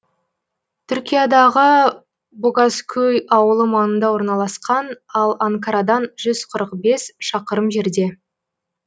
түркиядағы богазкөй ауылы маңында орналасқан ал анкарадан жүз қырық бес шақырым жерде